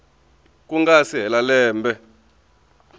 ku nga si hela lembe